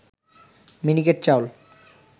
মিনিকেট চাউল